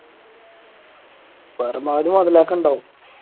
പരമാവധി മൊതലാക്കണുണ്ടാവും